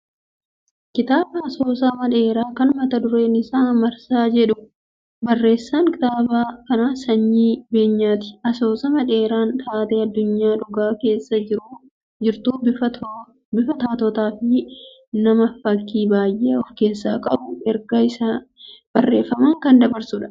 Kitaaba asoosama dheeraa kan mata dureen isaa " Marsaa" jedhu. Barreessaan kitaaba kanaa Sanyii Beenyaati. Asoosamni dheeraan taatee addunyaa dhugaa keessa jirtu bifa taatotaa fi nam-fakkii baay'ee ofkeessaa qabuun ergaa isaa barreeffamaan kan dabarsudha.